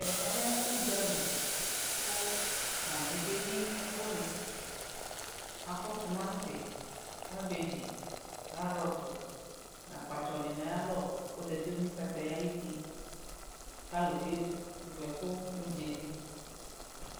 ɛmɛ lɛ ʋdzali kʋ mamiɛ kɛyi ɛkʋni, akɔ tʋmanti, garbage, carrots nʋ akpatsɔ nʋ ayialɔ kʋ ɔzati nʋ kataya ayiti kʋ alʋ kɛ vʋ ɛkʋ nʋ ʋdzali